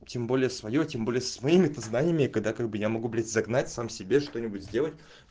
тем более своё тем более с моими-то созданиями когда как бы я могу быть загнать сам себе что-нибудь сделать